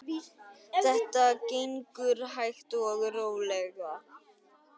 Þetta gengur hægt og rólega.